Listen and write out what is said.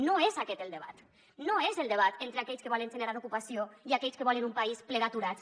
no és aquest el debat no és el debat entre aquells que volen generar ocupació i aquells que volen un país ple d’aturats